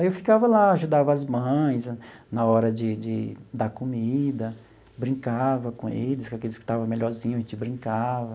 Aí eu ficava lá, ajudava as mães na hora de de dar comida, brincava com eles, com aqueles que estava melhorzinho, a gente brincava.